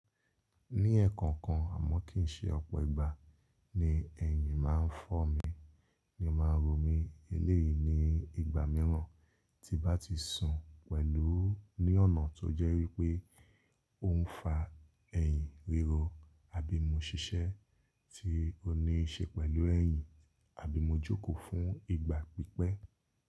Ní ẹ̀ẹ̀kọ̀kan àmọ́ kì í ṣe ọ̀pọ̀ ìgbà ni ẹyin máa ń fọ́ mi ni máa ń ro mi eléyìí ní ìgbà mìíràn tí bá ti sùn pẹ̀lú ní ọ̀nà tó jẹ́ wípé ò ń fa ẹ̀yìn ríro àbí mo ṣiṣẹ́ tí ò ní ṣe pẹ̀lú ẹ̀yìn àbí mo jókòó fún ìgbà pípẹ́.